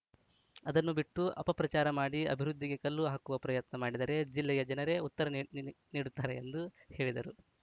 ಅದನ್ನು ಬಿಟ್ಟು ಅಪಪ್ರಚಾರ ಮಾಡಿ ಅಭಿವೃದ್ದಿಗೆ ಕಲ್ಲು ಹಾಕುವ ಪ್ರಯತ್ನ ಮಾಡಿದರೆ ಜಿಲ್ಲೆಯ ಜನರೆ ಉತ್ತರ ನೀ ನೀ ನೀಡುತ್ತಾರೆ ಎಂದು ಹೇಳಿದರು